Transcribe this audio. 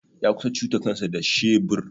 Ya kusa cuta kansa da shebur.